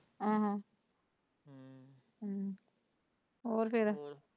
ਹਮ ਹਮ ਹੋਰ ਫੇਰ।